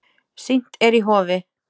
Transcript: Sýnt er í Hofi.